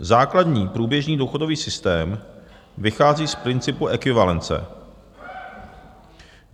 Základní průběžný důchodový systém vychází z principu ekvivalence.